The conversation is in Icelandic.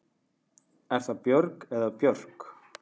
Er það Björg eða Björk?